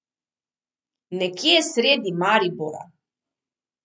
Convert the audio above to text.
Nekje sredi Maribora ...